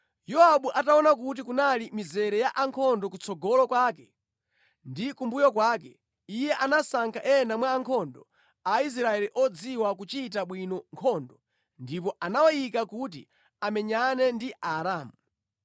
Yowabu ataona kuti kunali mizere ya ankhondo kutsogolo kwake ndi kumbuyo kwake, iye anasankha ena mwa ankhondo a Israeli odziwa kuchita bwino nkhondo ndipo anawayika kuti amenyane ndi Aaramu.